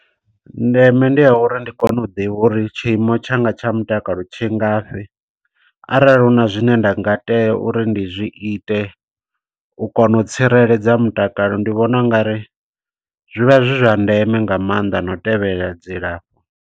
Ndeme ndi ya uri ndi kone u ḓivha uri tshiimo tshanga tsha mutakalo tshi ngafhi. Arali hu na zwine nda nga tea uri ndi zwi ite, u kona u tsireledza mutakalo, ndi vhona ungari zwivha zwi zwa ndeme nga maanḓa, no u tevhelela dzilafho.